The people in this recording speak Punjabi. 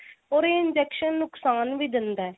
or ਏ injection ਨੁਕਸਾਨ ਵੀ ਦਿੰਦਾ